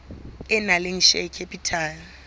e nang le share capital